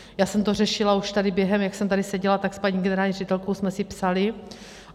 Já jsem to řešila už tady během, jak jsem tady seděla, tak s paní generální ředitelkou jsme si psaly.